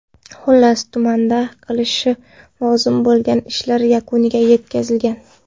Xullas, tumanda qilinishi lozim bo‘lgan ishlar yakuniga yetkazilgan.